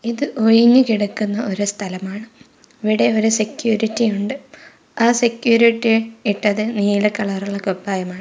ഇത് ഒയിഞ്ഞു കിടക്കുന്ന ഒരു സ്ഥലമാണ് ഇവിടെ ഒരു സെക്യൂരിറ്റി ഉണ്ട് ആ സെക്യൂരിറ്റി ഇട്ടത് നീല കളർ ഉള്ള കുപ്പായമാണ്.